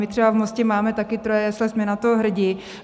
My třeba v Mostě máme také troje jesle, jsme na to hrdí.